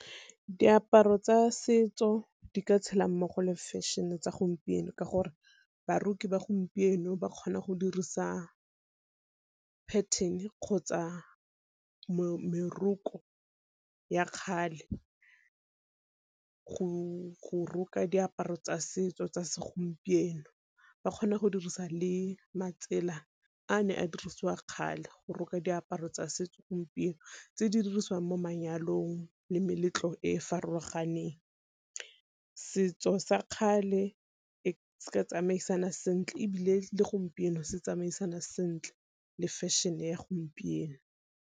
Diaparo tsa setso di ka tshela mmogo le fashion-e tsa gompieno, ka gore baroki ba gompieno ba kgona go dirisa pathene kgotsa meroko ya kgale go roka diaparo tsa setso tsa segompieno. Ba kgona go dirisa le matsela a ne a dirisiwa kgale go roka diaparo tsa setso gompieno, tse di dirisiwang mo manyalong le meletlo e e farologaneng. Setso sa kgale Se ka tsamaisana sentle ebile le gompieno se tsamaisana sentle le fashion-e ya gompieno.